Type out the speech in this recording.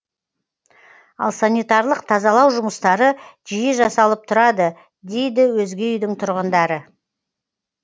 ал санитарлық тазалау жұмыстары жиі жасалып тұрады дейді өзге үйдің тұрғындары